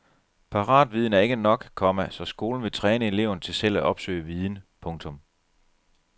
Paratviden er ikke nok, komma så skolen vil træne eleverne til selv at opsøge viden. punktum